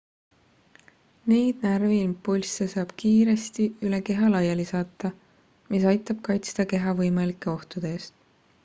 neid närviimpulsse saab kiiresti üle keha laiali saata mis aitab kaitsta keha võimalike ohtude eest